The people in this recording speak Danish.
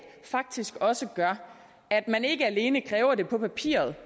faktisk også gør at man ikke alene kræver det på papiret